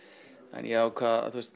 en ég ákvað að